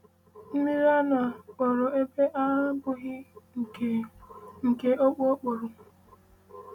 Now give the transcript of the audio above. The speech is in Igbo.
“Mmiri aṅụ a kpọrọ ebe a abụghị nke nke ọkpọ ọkpọrụ.”